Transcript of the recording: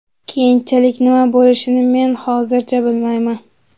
Keyinchalik nima bo‘lishini men hozircha bilmayman.